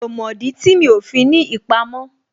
Mi ò mọ̀ dí tí mi ò fi ní ìpamọ́